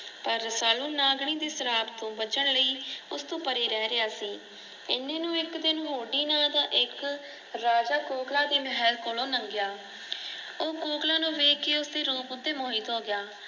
ਰਸਾਲੂ ਨਾਗਣੀ ਦੇ ਸ਼ਰਾਫ ਤੋਂ ਬਚਣ ਲਈ ਉਸਤੋਂ ਪਰੇ ਰਹਿ ਰਿਆ ਸੀ। ਐਨੇ ਨੂੰ ਇਕ ਦਿਨ ਹੋਟੀ ਨਾਂ ਦਾ ਇਕ ਰਾਜਾ ਕੌਕਲਾ ਦੇ ਮਹੱਲ ਕੋਲੋਂ ਨੰਗਿਆ ਉਹ ਕੋਕਲਾ ਨੂੰ ਵੇਖ ਕੇ ਉਸਦੇ ਰੂਪ ਉਤੇ ਮੋਹਿਤ ਹੋ ਗਿਆ